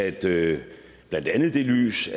i det lys